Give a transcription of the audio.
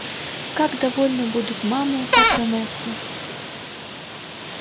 как довольны будут мамы патронессы